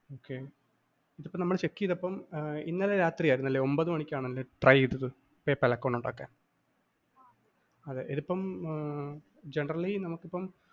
okay ഇതിപ്പം നമ്മള്‍ check ചെയ്തപ്പം ഇന്നലെ രാത്രി ആയിരുന്നല്ലേ ഒന്‍പത് മണിക്കാണല്ലേ try ചെയ്തത് PayPal account ഉണ്ടാക്കാന്‍? ഇതിപ്പം generally നമുക്കിപ്പം